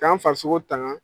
K'an farisogo tangan.